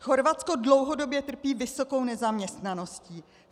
Chorvatsko dlouhodobě trpí vysokou nezaměstnaností.